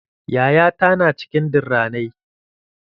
Yaya ta na cikin durranai.